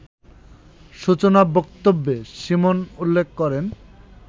সূচনা বক্তব্যে সীমন উল্লেখ করেন